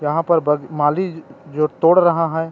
यहाँ पर ब माली जो तोड़ रहा है।